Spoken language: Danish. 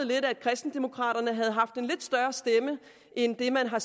lidt at kristendemokraterne havde haft en lidt større stemme end den man har